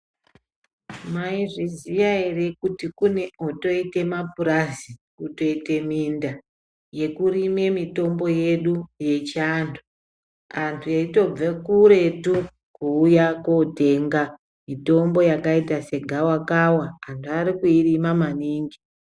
Maizviziva here kuti kune otoita mapurazi kutoita minda yekurima mitombo yedu yechiandu antu eitobva kuretu kuuya kundotenga mitombo yakaita segava kava vantu vari kuirima maningi.